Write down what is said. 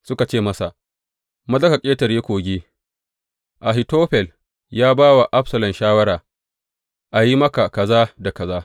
Suka ce masa, Maza ka ƙetare kogi; Ahitofel ya ba wa Absalom shawara a yi maka kaza da kaza.